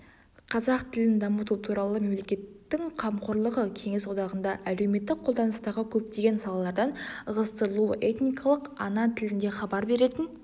қазақ тілін дамыту туралы мемлекеттің қамқорлығы кеңес одағында әлеуметтік қолданыстағы көптеген салалардан ығыстырылуы этникалық ана тілінде хабар беретін